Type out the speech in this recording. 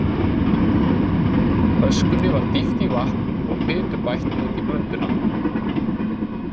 Öskunni var dýft í vatn og fitu bætt útí blönduna.